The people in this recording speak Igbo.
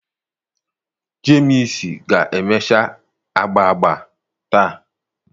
Jemsi ga-emecha agba agba taa.